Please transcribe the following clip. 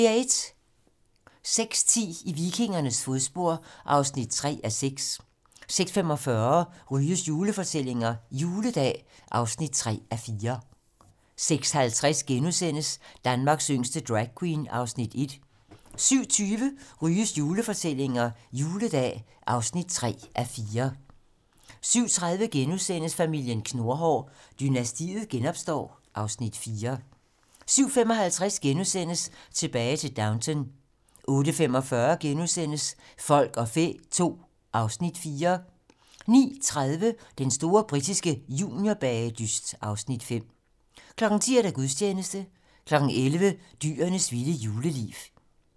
06:10: I vikingernes fodspor (3:6) 06:45: Ryges julefortællinger - Juledag (3:4) 06:50: Danmarks yngste dragqueen (Afs. 1)* 07:20: Ryges julefortællinger - Juledag (3:4) 07:30: Familien Knurhår: Dynastiet genopstår (Afs. 4)* 07:55: Tilbage til Downton * 08:45: Folk og fæ II (Afs. 4)* 09:30: Den store britiske juniorbagedyst (Afs. 5) 10:00: Gudstjeneste 11:00: Dyrenes vilde juleliv